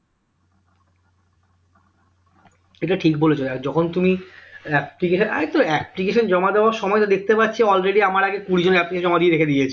এটা ঠিক বলেছ আর যখন তুমি application এই তো application জমা দেওয়ার সময় তো দেখতে পাচ্ছি already আমার আগে কুড়ি জন application জমা দিয়ে রেখে দিয়েছে